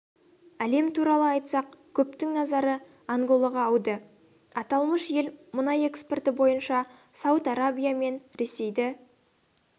әлем туралы айтсақ көптің назары анголаға ауды аталмыш ел мұнай экспорты бойынша сауд арабия мен ресейді